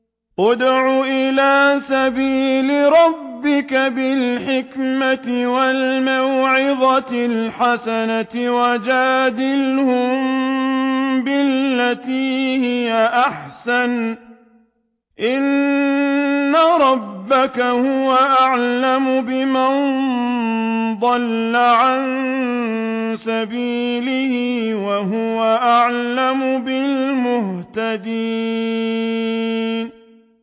ادْعُ إِلَىٰ سَبِيلِ رَبِّكَ بِالْحِكْمَةِ وَالْمَوْعِظَةِ الْحَسَنَةِ ۖ وَجَادِلْهُم بِالَّتِي هِيَ أَحْسَنُ ۚ إِنَّ رَبَّكَ هُوَ أَعْلَمُ بِمَن ضَلَّ عَن سَبِيلِهِ ۖ وَهُوَ أَعْلَمُ بِالْمُهْتَدِينَ